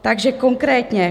Takže konkrétně.